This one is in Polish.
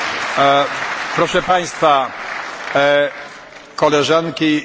Proszę Państwa, Koleżanki i Koledzy!